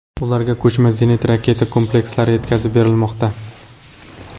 Ularga ko‘chma zenit raketa komplekslari yetkazib berilmoqda.